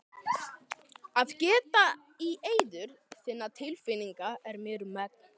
Að geta í eyður þinna tilfinninga er mér um megn.